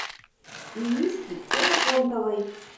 иришки ксенофонтовой